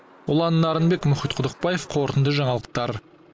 ұлан нарынбек мұхит құдықбаев қорытынды жаңалықтар